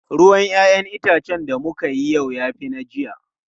Ruwan 'ya'yan itacen da muka yi yau ya fi na jiya.